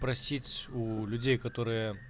просить уу людей которые